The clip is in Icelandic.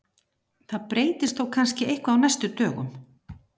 Það breytist þó kannski eitthvað á næstu dögum.